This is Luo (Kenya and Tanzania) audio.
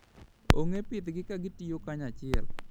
Ong'e pidhgi ka gitiyo kanyachiel.